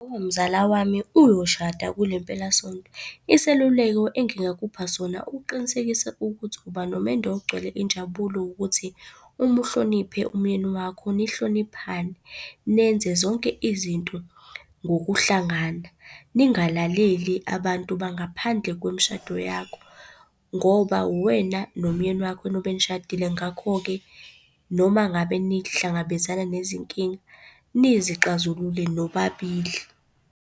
Umzala wami uyoshada kule mpelasonto. Iseluleko engingakupha sona uqinisekise ukuthi uba nomendo ogcwele injabulo ukuthi uma uhloniphe umyeni wakho, nihloniphane. Nenze zonke izinto ngokuhlangana ningalaleli abantu bangaphandle kwemishado yakho, ngoba uwena nomyeni wakho enobe nishadile. Ngakho-ke, noma ngabe nihlangabezana nezinkinga nizixazulule nobabili.